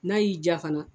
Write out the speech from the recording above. N'a y'i ja fana